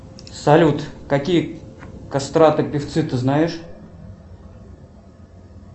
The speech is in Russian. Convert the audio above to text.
салют какие кастраты певцы ты знаешь